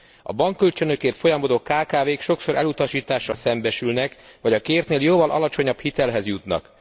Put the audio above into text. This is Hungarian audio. A bankkölcsönökért folyamodó kkv k sokszor elutasítással szembesülnek, vagy a kértnél jóval alacsonyabb hitelhez jutnak.